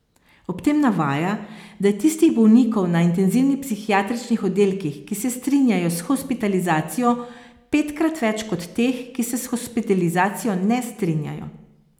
Ob tem navaja, da je tistih bolnikov na intenzivnih psihiatričnih oddelkih, ki se strinjajo s hospitalizacijo, petkrat več kot teh, ki se s hospitalizacijo ne strinjajo.